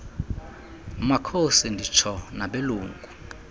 makhosi nditsho nabelungu